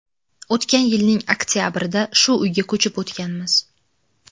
O‘tgan yilning oktabrida shu uyga ko‘chib o‘tganmiz.